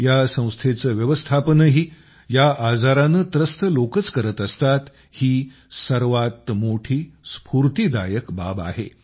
या संस्थेचं व्यवस्थापनही या आजारानं त्रस्त लोकच करत असतात ही सर्वात मोठी स्फूर्तीदायक बाब आहे